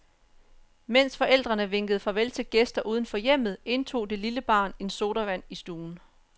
Mens forældrene vinkede farvel til gæster uden for hjemmet, indtog det lille barn en sodavand i stuen.